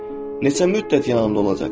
Neçə müddət yanımda olacaqsan?